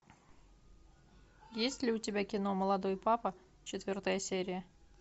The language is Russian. есть ли у тебя кино молодой папа четвертая серия